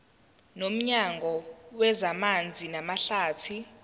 nomnyango wezamanzi namahlathi